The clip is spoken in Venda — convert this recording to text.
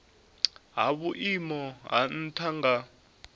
ha vhuimo ha nha nga